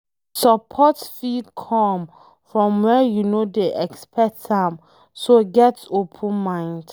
Support fit come from where you no dey expect am so, get open mind